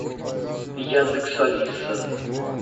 яндекс алиса